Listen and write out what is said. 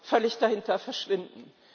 völlig dahinter verschwinden.